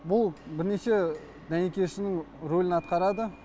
бұл бірнеше дәнекершінің рөлін атқарады